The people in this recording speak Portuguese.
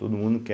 Todo mundo quer.